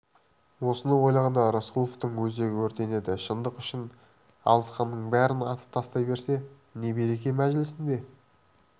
осыны ойлағанда рысқұловтың өзегі өртенеді шындық үшін алысқанның бәрін атып тастай берсе не береке мәжілісінде